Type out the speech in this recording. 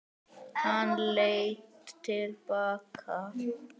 Hann leit til baka.